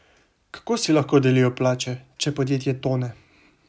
Kako si lahko delijo plače, če podjetje tone ?